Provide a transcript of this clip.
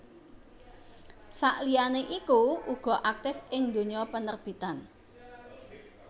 Sakliyane iku uga aktif ing dunya penerbitan